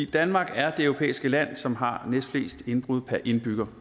danmark er det europæiske lande som har næstflest indbrud per indbygger